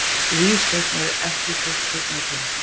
Vígsteinn, ekki fórstu með þeim?